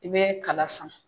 I bɛ kala san